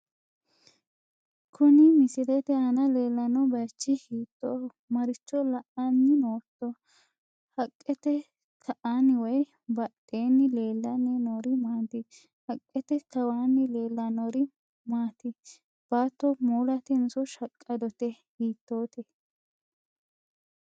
kuni misilete aana leellanno bayichi hiittoho? maricho la'anni nootto? haqqete ka'anni woy badheenni leellanni noori maati? haqqte kawaanni leellannori maati? baatto moolatenso shaqqadote hiittote?